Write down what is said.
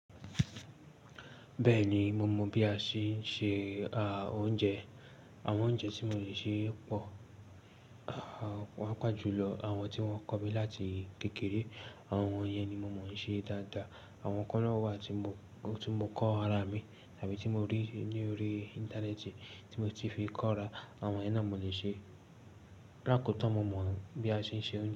Bẹ́ẹ̀ni, mo mọ̀ bí a ṣe ń se ah, oúnjẹ. Àwọn oúnjẹ tí mo le ṣe pọ̀, ah, pàjùlọ àwọn tí wọ́n kọ̀ mí láti kékeré, àwọn yẹn ni mo mọ̀ ṣe dáadáa. Àwọn kan náà wà tí mo, tí mo kọ́ ara mi tàbí tí mo rí ní orí Íńtánẹ́ẹ̀tì tí mo ti fi kọ́ ra, àwọn yẹn náà mo le ṣe. Lákò tan mo mọ̀ bí a ṣe ń se oúnjẹ.